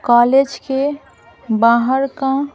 college के बाहर का --